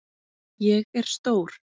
Ég er stór.